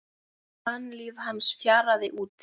an líf hans fjaraði út.